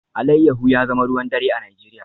Alayyahu ya zama ruwan dare a Najeriya